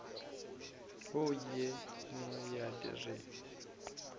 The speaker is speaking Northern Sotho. wo ye nngwe ya re